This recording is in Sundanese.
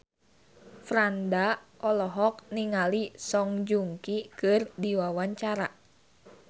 Franda olohok ningali Song Joong Ki keur diwawancara